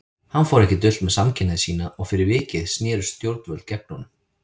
Hann fór ekki dult með samkynhneigð sína og fyrir vikið snerust stjórnvöld gegn honum.